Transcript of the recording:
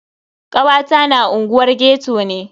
Kawata na unguwar ghetto ne.